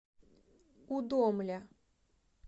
удомля